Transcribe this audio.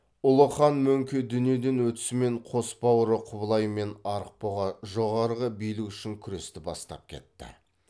ұлы хан мөңке дүниеден өтісімен қос бауыры құбылай мен арықбұға жоғарғы билік үшін күресті бастап кетті